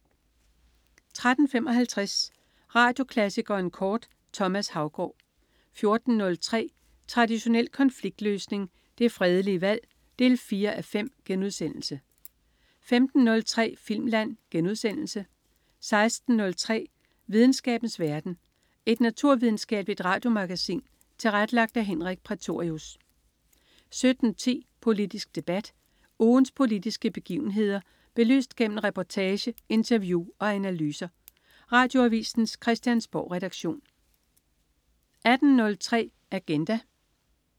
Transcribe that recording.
13.55 Radioklassikeren kort. Thomas Haugaard 14.03 Traditionel konfliktløsning. Det fredelige valg 4:5* 15.03 Filmland* 16.03 Videnskabens verden. Et naturvidenskabeligt radiomagasin tilrettelagt af Henrik Prætorius 17.10 Politisk debat. Ugens politiske begivenheder belyst gennem reportage, interview og analyser. Radioavisens Christiansborgredaktion 18.03 Agenda